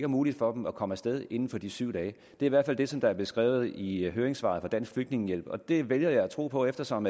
muligt for dem at komme af sted inden for de syv dage det i hvert fald det som er beskrevet i høringssvaret fra dansk flygtningehjælp og det vælger jeg at tro på eftersom